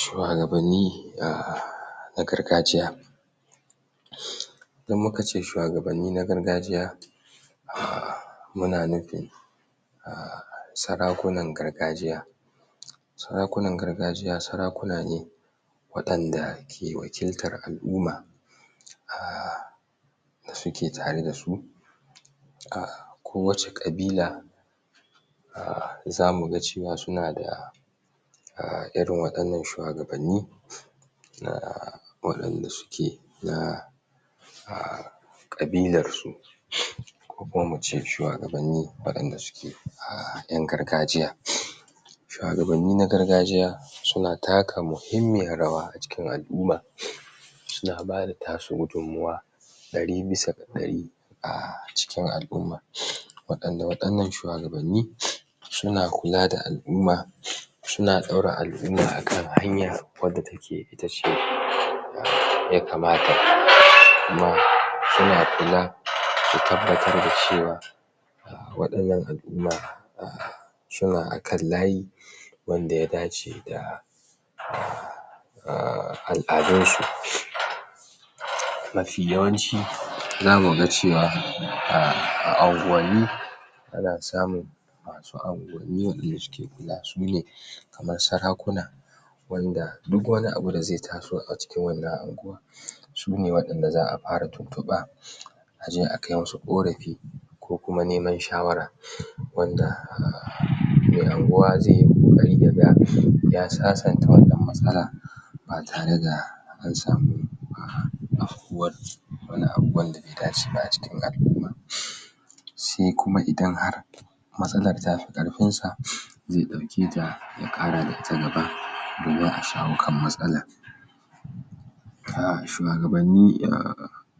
shuwagabanni na gargajiya idan mukace shuwagabanni na gargajiya a muna nufin sarakunan gargajiya sarakunan gargajiya sarakuna ne waɗanda ke wakiltar al'uma a da suke tare dasu a ko wacce ƙabila a zamuga cewa suna da a irin wa ƴan nan shuwagabanni waɗanda suke na a ƙabilarsu ko kuma muce shuwagabanni waɗanda a ƴan gargajiya shuwagabanni na gargajiya suna taka muhimmiyar rawa a cikin al'umma suna bada tasu gudun mawa ɗari bisa ɗari a cikin al'umma waɗanda waɗannan shuwagabanni suna kula da al'umma suna ɗaura al'umma akan hanya wanda take itace wadda yakamata kuma suna kula da tabbatar da cewa waɗannan al'umma a suna akan layi wanda ya dace da a al'adunsu mafi yawanci zamuga cewa a anguwanni ana samun masu anguwanni wanda suke kula sune kamar sarakuna wanda duk wani abu da zai taso a cikin wannan anguwa sune wanda za a fara tuntuɓa aje a kai musu ko rafi ko kuma neman shawara wanda me anguwa zaiyi ƙoƙari yaga ya sasanta wannan matsala ba tare da ansamu a faruwar wani abu wanda be dace ba a cikin al'umma sai kuma idan har matsalar tafi ƙarfinsa zai ɗauke ta ya ƙarata gaba domin a shawo kan matsalar a shuwagabanni a